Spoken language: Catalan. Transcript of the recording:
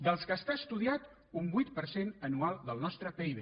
dels que està estudiat un vuit per cent anual del nostre pib